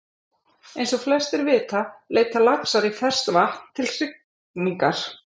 Eins og flestir vita leita laxar í ferskt vatn til hrygningar.